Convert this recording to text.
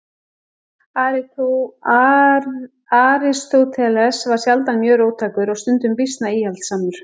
Aristóteles var sjaldan mjög róttækur og stundum býsna íhaldssamur.